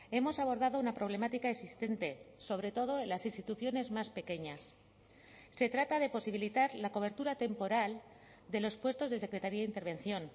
hemos abordado una problemática existente sobre todo en las instituciones más pequeñas se trata de posibilitar la cobertura temporal de los puestos de secretaria intervención